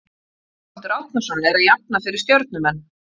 Þorvaldur Árnason er að jafna fyrir stjörnumenn.